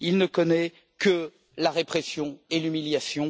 Il ne connaît que la répression et l'humiliation.